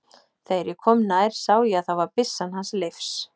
Þegar ég kom nær sá ég að það var byssan hans Leifs.